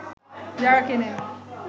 যারা কেনেন